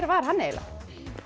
var hann eiginlega